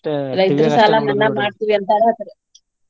ರೈತರ ಸಾಲಾ ಮನ್ನಾ ಮಾಡ್ತೀವಿ ಅಂತಾರ ಅದ್ರ್.